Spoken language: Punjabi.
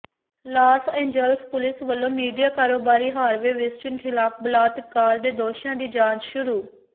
ਲਾਸ ਏਂਜਲਸ ਪੁਲਿਸ ਵੱਲੋਂ ਮੀਡੀਆ ਕਾਰੋਬਾਰੀ ਹਾਰਵੇ ਵਿਸਟੀਨ ਖ਼ਿਲਾਫ਼ ਬਲਾਤਕਾਰ ਦੇ ਦੋਸ਼ਾਂ ਦੀ ਜਾਂਚ ਸ਼ੁਰੂ